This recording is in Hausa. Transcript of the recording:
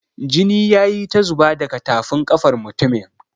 Jini ya yi ta zuba daga tafin ƙafar mutumin.